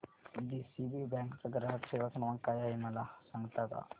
DCB bank चा ग्राहक सेवा क्रमांक काय आहे मला सांगता का